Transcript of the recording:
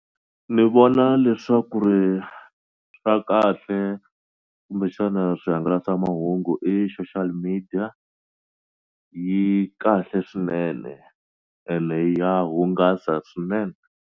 Ni vona leswaku ri swa kahle kumbexana swihangalasamahungu i social media yi kahle swinene ene ya hungasa swinene.